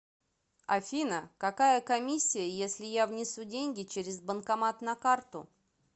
афина какая комиссия если я внесу деньги через банкомат на карту